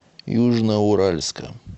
южноуральска